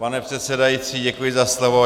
Pane předsedající, děkuji za slovo.